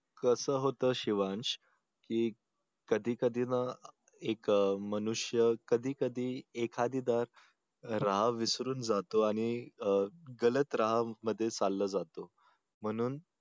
कस होत शिवांश की कधी कधी ना एक मनुष्य कधी कधी एखादी राह विसरून जातो आणि अं गलत राह मध्ये चालला जातो म्हणून